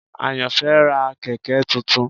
Ayanfe ra kẹ̀kẹ́ tuntun.